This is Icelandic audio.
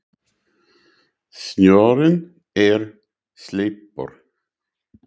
Snjórinn er sleipur!